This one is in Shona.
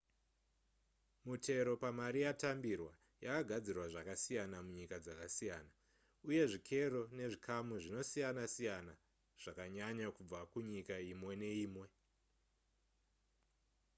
mutero pamari yatambirwa yakagadzirwa zvakasiyana munyika dzakasiyana uye zvikero nezvikamu zvinosiyana siyana zvakanyanya kubva kunyika imwe neimwe